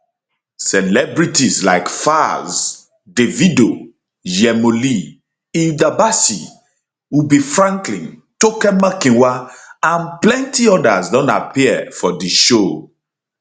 celebrities like falz davido yhemo lee hilda bacci ubi franklin toke makinwa and plenti odas don appear for di show